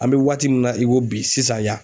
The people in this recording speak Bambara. An be waati min na i ko bi sisan yan